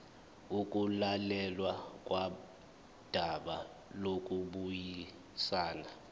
ukulalelwa kodaba lokubuyisana